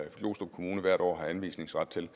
glostrup kommune hvert år har anvisningsret til